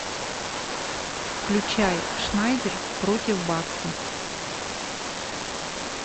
включай шнайдер против бакса